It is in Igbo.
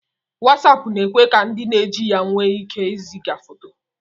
Wasapu na-ekwe ka ndi na-eji ya nwe ike iziga foto